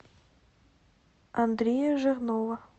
андрея жирнова